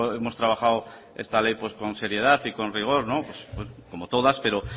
hemos trabajado esta ley con seriedad y con rigor como todas pero